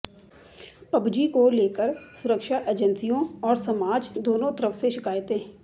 PUBG को लेकर सुरक्षा एजेंसियों और समाज दोनों तरफ से शिकायतें